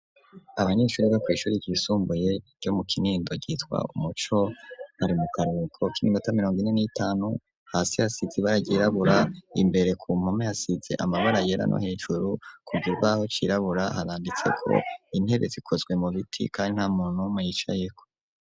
Abanyeshuri bo kw'ishuri ry'isumbuye ryo mu kinindo ,ryitwa umuco ,bari mu karuhuko kiminota mirongo ine n'itanu ,hasi yasize bara ryirabura, imbere ku mpome hasize amabara yera, no hejuru kukibaho cirabura, haranditse ko intebe zikozwe mu biti kandi nta muntu yicayeho.